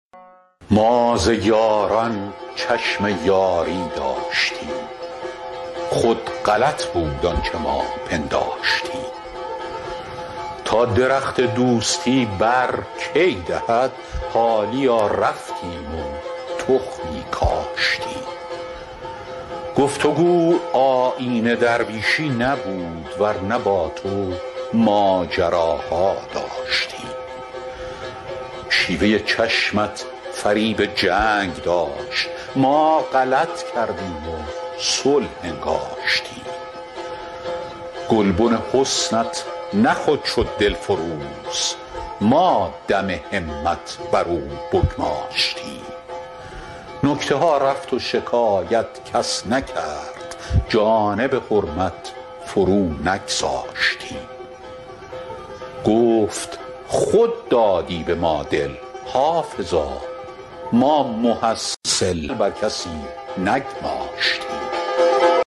ما ز یاران چشم یاری داشتیم خود غلط بود آنچه ما پنداشتیم تا درخت دوستی بر کی دهد حالیا رفتیم و تخمی کاشتیم گفت و گو آیین درویشی نبود ور نه با تو ماجراها داشتیم شیوه چشمت فریب جنگ داشت ما غلط کردیم و صلح انگاشتیم گلبن حسنت نه خود شد دلفروز ما دم همت بر او بگماشتیم نکته ها رفت و شکایت کس نکرد جانب حرمت فرو نگذاشتیم گفت خود دادی به ما دل حافظا ما محصل بر کسی نگماشتیم